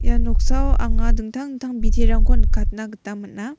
ia noksao anga dingtang dingtang biterangko nikatna gita man·a.